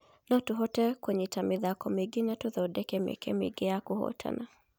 Notũhote kũnyita mĩ thako mĩ ingĩ na tũthondeke mĩ eke mĩ ingĩ ya kũhotana.